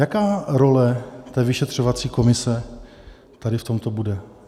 Jaká role té vyšetřovací komise tady v tomto bude?